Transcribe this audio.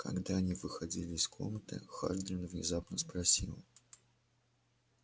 когда они выходили из комнаты хардин внезапно спросил